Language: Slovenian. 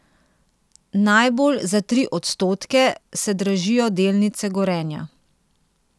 Najbolj, za tri odstotke, se dražijo delnice Gorenja.